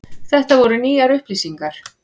Þetta voru nýjar upplýsingar.